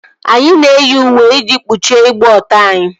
Anyị na-eyi uwe iji kpuchie ịgba ọtọ anyị